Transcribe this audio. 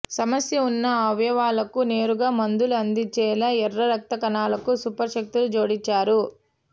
సమస్య ఉన్న అవయవాలకు నేరుగా మందులు అందించేలా ఎర్ర రక్త కణాలకు సూపర్ శక్తులు జోడించారు